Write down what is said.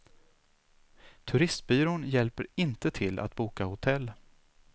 Turistbyrån hjälper inte till att boka hotell.